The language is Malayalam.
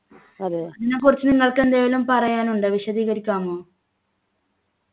ഇതിനെക്കുറിച്ച് നിങ്ങൾക്കെന്തെലും പറയാനുണ്ടോ വിശദീകരിക്കാമോ